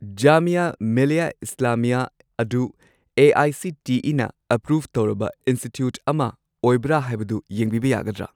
ꯖꯥꯃꯤꯌꯥ ꯃꯤꯂꯤꯌꯥ ꯏꯁꯂꯥꯃꯤꯌꯥ ꯑꯗꯨ ꯑꯦ.ꯑꯥꯏ.ꯁꯤ.ꯇꯤ.ꯏ.ꯅ ꯑꯦꯄ꯭ꯔꯨꯚ ꯇꯧꯔꯕ ꯏꯟꯁꯇꯤꯇ꯭ꯌꯨꯠ ꯑꯃ ꯑꯣꯏꯕ꯭ꯔꯥ ꯍꯥꯏꯕꯗꯨ ꯌꯦꯡꯕꯤꯕ ꯌꯥꯒꯗ꯭ꯔꯥ?